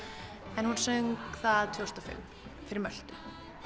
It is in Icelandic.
en hún söng það tvö þúsund og fimm fyrir Möltu